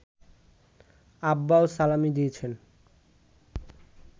আব্বাও সালামি দিয়েছেন